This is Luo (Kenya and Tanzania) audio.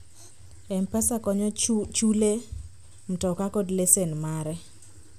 mpesa konyo chule mtoka kod lesen mare